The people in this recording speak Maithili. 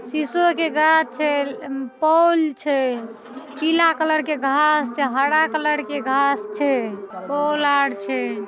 सीसो ओ के गाछ छै म पोल छै। पीला कलर के घास छै हरा कलर के घास छै। पोल आर छै।